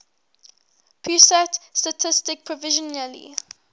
pusat statistik provisionally